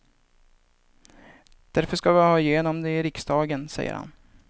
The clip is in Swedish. Därför ska vi ha igenom det i riksdagen, säger han.